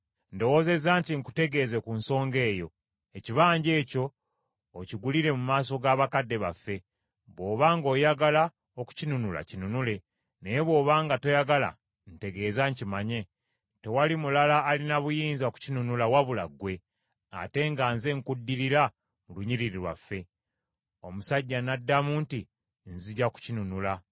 Ndowoozezza nti nkutegeeze ku nsonga eyo, ekibanja ekyo okigulire mu maaso g’abakadde baffe. Bw’oba ng’oyagala okukinunula kinunule. Naye bw’oba nga toyagala, ntegeeza nkimanye. Tewali mulala alina buyinza kukinunula wabula ggwe, ate nga nze nkuddirira mu lunyiriri lwaffe.” Omusajja n’addamu nti, “Nzija kukinunula.”